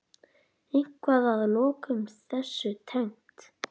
Eitthvað að lokum þessu tengt?